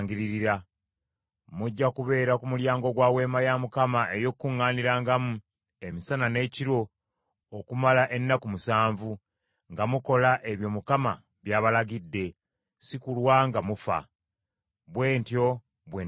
Mujja kubeera ku mulyango gwa Weema ey’Okukuŋŋaanirangamu emisana n’ekiro okumala ennaku musanvu, nga mukola ebyo Mukama by’abalagidde, si kulwa nga mufa; bwe ntyo bwe ndagiddwa.”